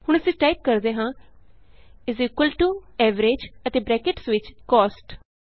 ਹੁਣ ਅਸੀਂ ਟਾਈਪ ਕਰਦੇ ਹਾਂ Average ਅਤੇ ਬਰੈਕਟਸ ਵਿਚ ਕੋਸਟ